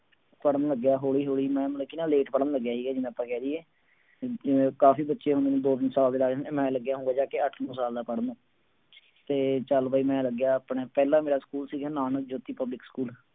ਪੜ੍ਹਨ ਲੱਗਿਆ ਹੌਲੀ ਹੌਲੀ ਮੈਂ ਮਤਲਬ ਕਿ ਨਾ ਲੇਖ ਪੜ੍ਹਨ ਲੱਗਿਆ ਸੀਗਾ ਜਿਵੇਂ ਆਪਾਂ ਕਹਿ ਦੇਈਏ ਜਿਵੇਂ ਕਾਫ਼ੀ ਬੱਚੇ ਹੁਣ ਦੋ ਤਿੰਨ ਸਾਲ ਦੇ ਲੱਗ ਜਾਂਦੇ ਮੈਂ ਲੱਗਿਆ ਹੋਊਂਗਾ ਜਾ ਕੇ ਅੱਠ ਨੋਂ ਸਾਲ ਦਾ ਪੜ੍ਹਨ ਤੇ ਚੱਲ ਬਈ ਮੈਂ ਲੱਗਿਆ ਆਪਣੇ ਪਹਿਲਾਂ ਮੇਰਾ ਸਕੂਲ ਸੀਗਾ ਨਾ ਨਾਨਕ ਜੋਤੀ ਪਬਲਿਕ ਸਕੂਲ